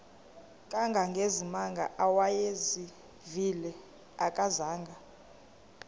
kangangezimanga awayezivile akazanga